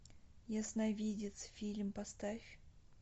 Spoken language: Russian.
ясновидец фильм поставь